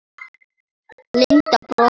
Linda brosti.